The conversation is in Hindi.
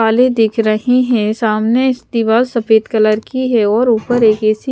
वाले दिख रही हैं सामने दीवार सफेद कलर की है और ऊपर एक--